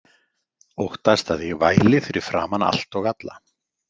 Óttast að ég væli fyrir framan allt og alla.